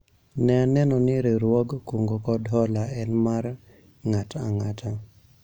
an aneno ni riwruog kungo kod hola en mar ng'at ang'ata